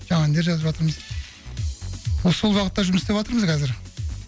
жаңа әндер жазып жатырмыз осы сол бағытта жұмыс істеватырмыз қазір